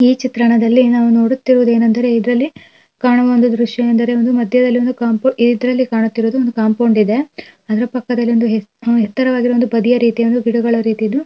ಈ ಚಿತ್ರಣದಲ್ಲಿ ನಾವು ನೋಡುತ್ತಿರುವುದು ಏನಂದರೆ ಇದ್ರಲ್ಲಿ ಕಾಣುವೊಂದು ದೃಶ್ಯ ಎಂದ್ರೆ ಒಂದು ಮಧ್ಯದಲ್ಲಿ ಒಂದು ಕಾಂಪೌಂಡ್ ಇತರಲ್ಲಿ ಕಾಣ್ತಿರುವುದು ಒಂದು ಕಾಂಪೌಂಡ್ ಇದೆ. ಅದ್ರ ಪಕ್ಕದಲ್ಲಿ ಒಂದ್ ಒಂದು ಯೇತ್ ಎತ್ತರವಾಗಿರುವಂದು ಪದಿಯಾರೀತಿಗಳಂದು ಗಿಡಗಳ ರೀತಿಯಿದು --